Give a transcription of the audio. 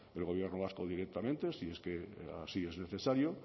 el gobierno vasco directamente si es que así es necesario